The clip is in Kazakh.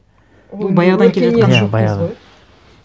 ол баяғыдан келе жатқан